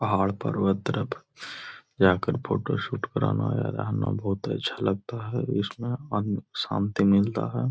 पहाड़ पर्वत तरफ जाकर फोटोशूट कराना या रहना बोहुत अच्छा लगता है। इसमें मन शांति मिलता है।